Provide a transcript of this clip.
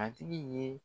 A tigi ye